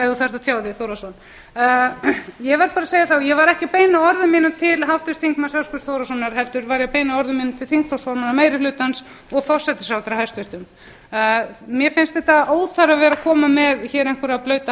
ef þú þarft að tjá þig þórhallsson ég verð bara að segja og ég var ekki að beina orðum mínum til háttvirts þingmanns höskulds þórhallssonar heldur til þingflokksformanna meiri hlutans og hæstvirtur forsætisráðherra mér finnst óþarfi að vera að koma með hér einhverja blauta